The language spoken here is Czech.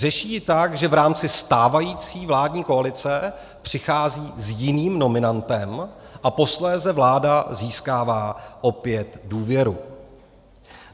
Řeší ji tak, že v rámci stávající vládní koalice přichází s jiným nominantem a posléze vláda získává opět důvěru.